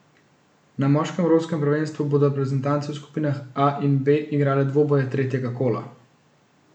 Na moškem evropskem prvenstvu bodo reprezentance v skupinah A in B igrale dvoboje tretjega kola.